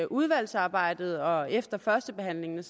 udvalgsarbejdet og efter førstebehandlingen